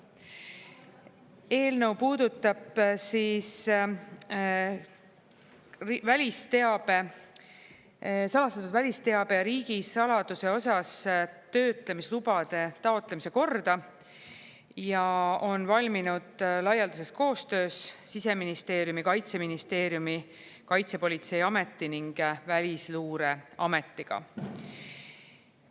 Eelnõu puudutab salastatud välisteabe ja riigisaladuse osas töötlemislubade taotlemise korda ja on valminud laialdases koostöös Siseministeeriumi, Kaitseministeeriumi, Kaitsepolitseiameti ning Välisluureametiga.